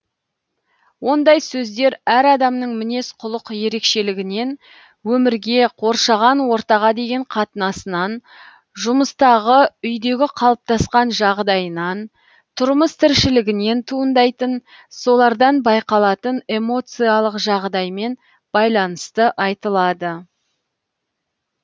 ондай сөздер әр адамның мінез құлық ерекшелігінен өмірге қоршаған ортаға деген қатынасынан жұмыстағы үйдегі қалыптасқан жағдайынан тұрмыс тіршілігінен туындайтын солардан байқалатын эмоциялық жағдаймен байланысты айтылады